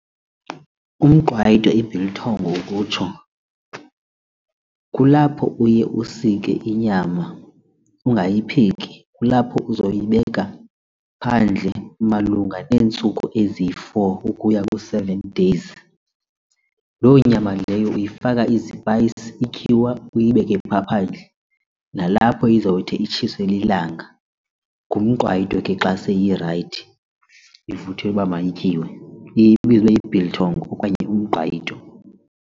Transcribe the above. Umqwayito i-biltong ukutsho kulapho uye usike inyama ungayipheki, kulapho uzoyibeka phandle malunga neentsuku eziyi-four ukuya ku-seven days. Loo nyama leyo uyifaka izipayisi, ityiwa uyibeke phaa phandle nalapho izawuthi itshiswe lilanga. Ngumqwayito ke xa seyirayithi ivuthiwe uba mayityiwe iye ibizwe uba yi-biltong okanye umqwayito.